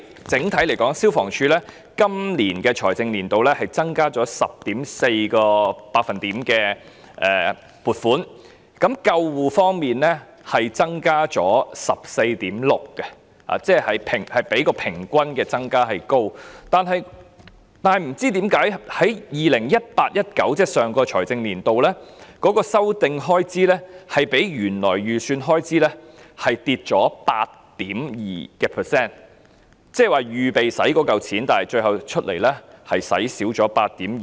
整體來說，消防處今個財政年度的撥款增加了 10.4%， 而救護方面的撥款增加了 14.6%， 即較平均加幅為高；但不知道為何，在 2018-2019 年度，修訂開支較原來預算下跌 8.2%， 換言之，預備動用的款項最後卻少花了 8.2%。